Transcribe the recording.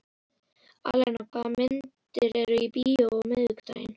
Alena, hvaða myndir eru í bíó á miðvikudaginn?